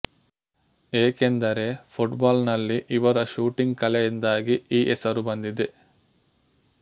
ಏಕೆಂದರೆ ಪುಟ್ಬಾಲ್ ನಲ್ಲಿ ಇವರ ಶೂಟಿಂಗ್ ಕಲೆಯಿಂದಾಗಿ ಈ ಹೆಸರು ಬಂದಿದೆ